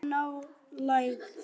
Sólin í nálægð.